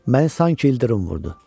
Məni sanki ildırım vurdu.